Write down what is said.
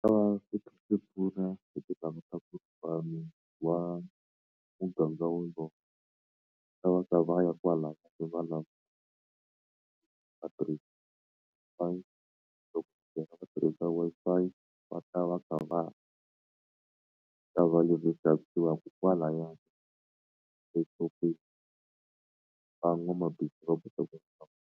ta va swi kha swi pfuna hi ku ku wa muganga wolowo ta va ka va ya kwala vatirhisa loko tirhisa Wi-Fi va ta va kha va ta ko kwalayani exopeni van'wamabindzu .